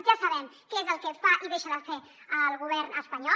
ja sabem què és el que fa i deixa de fer el govern espanyol